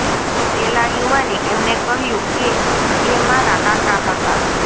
પેલા યુવાને એમને કહ્યું કે એ મારા કાકા હતા